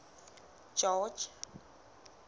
george